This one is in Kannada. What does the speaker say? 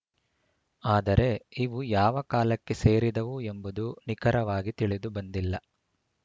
ಆದರೆ ಇವು ಯಾವ ಕಾಲಕ್ಕೆ ಸೇರಿದವು ಎಂಬುದು ನಿಖರವಾಗಿ ತಿಳಿದುಬಂದಿಲ್ಲ